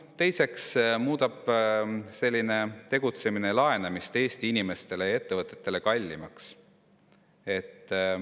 Teiseks muudab selline tegutsemine laenamise Eesti inimestele ja ettevõtetele kallimaks.